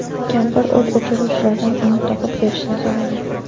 Kampir o‘t o‘chiruvchilardan uni topib berishini so‘ragan.